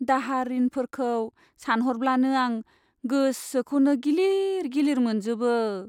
दाहार रिनफोरखौ सानह'रब्लानो आं गोसोखौनो गिलिर गिलिर मोनजोबो।